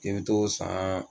I bi t'o san.